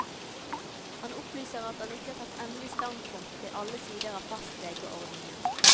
Han opplyser at han ikke har tatt endelig standpunkt til alle sider av fastlegeordningen.